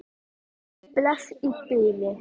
Bless í bili.